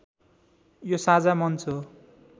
यो साझा मञ्च हो